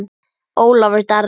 Ólafur Darri.